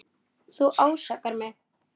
Þú ásakar mig.